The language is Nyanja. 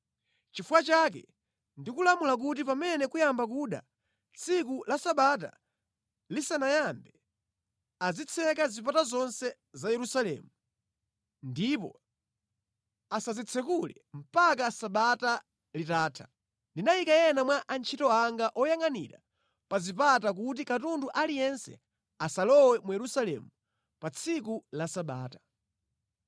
Nʼchifukwa chake ndikulamula kuti pamene kuyamba kuda, tsiku la Sabata lisanayambe, azitseka zipata zonse za Yerusalemu ndipo asazitsekule mpaka sabata litatha. Ndinayika ena mwa antchito anga oyangʼanira pa zipata kuti katundu aliyense asalowe mu Yerusalemu pa tsiku la Sabata.